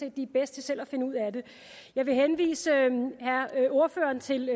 at de er bedst til selv at finde ud af det jeg vil henvise ordføreren til